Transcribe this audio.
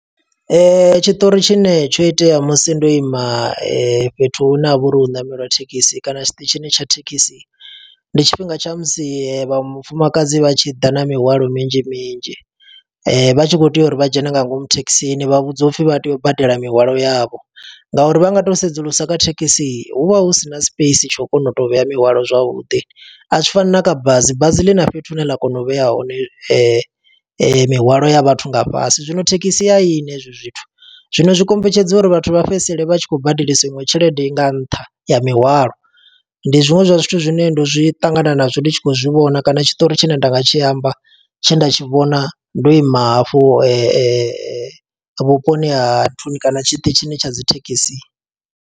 Tshiṱori tshine tsho itea musi ndo ima fhethu hune ha vha uri hu ṋameliwa thekisi kana tshiṱitshini tsha thekhisi. Ndi tshifhinga tsha musi vham mufumakadzi vha tshi ḓa na mihwalo minzhi minzhi. Vha tshi khou tea uri vha dzhene nga ngomu thekhisini, vha vhudziwa upfi vha tea u badela mihwalo yavho. Nga uri vha nga to sedzulusa kha thekhisi, hu vha hu sina space tsha u kona u to vhea mihwalo zwavhuḓi. A zwi fani na kha bazi, bazi ḽi na fhethu hune ḽa kona u vhea hone mihwalo ya vhathu nga fhasi. Zwino thekhisi a yina hezwi zwithu. Zwino zwi kombetshedza uri vhathu vha fhedzisele vha tshi khou badelisa iṅwe tshelede nga nṱha ya mihwalo. Ndi zwiṅwe zwa zwithu zwine ndo zwi ṱangana nazwo ndi tshi khou zwi vhona kana tshiṱori tshine nda nga tshi amba. Tshe nda tshi vhona ndo ima hafhu vhuponi ha nthuni kana tshiṱitshini tsha dzi thekhisi.